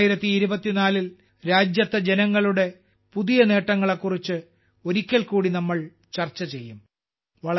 2024ൽ രാജ്യത്തെ ജനങ്ങളുടെ പുതിയ നേട്ടങ്ങളെക്കുറിച്ച് ഒരിക്കൽ കൂടി നമ്മൾ ചർച്ച ചെയ്യും